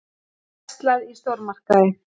Verslað í stórmarkaði.